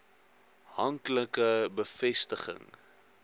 hank like bevestiging